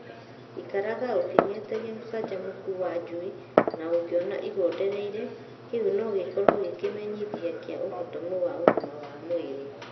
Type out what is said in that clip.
Ikaraga ũkĩng'etagia ũcanjamũku wa njui na ũngĩona igondereire, kĩu no gĩkorwo gĩ kĩmethia kĩa ũhotomu wa ũgima wa mwĩrĩ.